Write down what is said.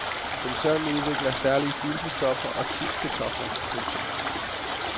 Koncernen udvikler særlige stivelseskartofler og chipskartofler. punktum